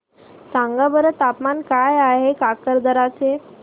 सांगा बरं तापमान काय आहे काकरदरा चे